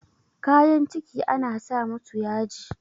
kayan ciki ana sa musu yaji